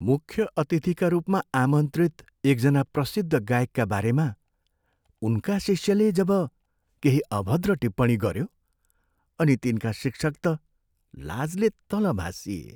मुख्य अतिथिका रूपमा आमन्त्रित एकजना प्रसिद्ध गायकका बारेमा उनका शिष्यले जब केही अभद्र टिप्पणी गऱ्यो अनि तिनका शिक्षक त लाजले तल भासिए।